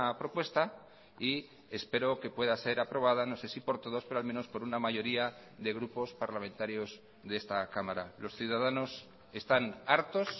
propuesta y espero que pueda ser aprobada no sé si por todos pero al menos por una mayoría de grupos parlamentarios de esta cámara los ciudadanos están hartos